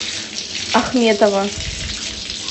ахметова